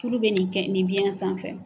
Tulu bɛ nin kɛn, nin biɲɛ sanfɛ.